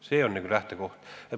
See on lähtekoht.